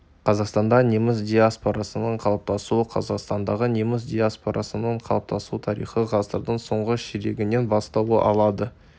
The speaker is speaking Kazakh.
қазақстанда неміс диаспорасының қалыптасуы қазақстандағы неміс диаспорасының қалыптасу тарихы ғасырдың соңғы ширегінен бастау алады